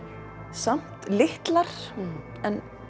samt litlar en